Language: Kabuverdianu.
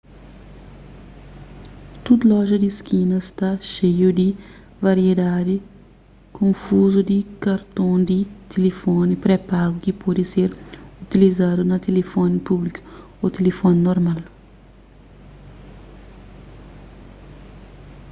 tdu loja di skina sta xeiu di variedadi konfuzu di karton di tilifoni pré-pagu ki pode ser utilizadu na tilifoni públiku ô tilifoni normal